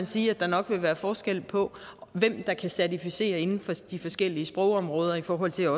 sige at der nok vil være forskel på hvem der kan certificere inden for de forskellige sprogområder i forhold til